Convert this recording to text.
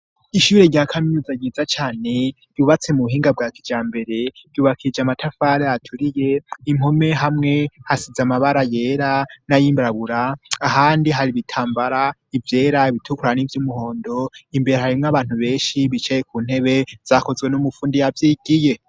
Ishure ryakaminuza ryiza cane bubatse mu buhinga bwa kija mbere yubakije amatafare aturiye impome hamwe hasize amabara yera n'ayimbarabura ahandi hari ibitambara ivyera ibitukuran'ivyo umuhondo imbere harimwo abantu benshi bicaye ku ntebe zakozwe n'umupfundi yavyo igiye.